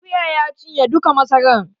Akuya ya cinye duka masaran